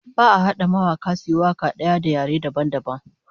Ba'a hada mawaka suyi waka daya da yare dabam dabam